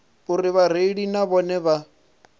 uri vhareili na vhone vha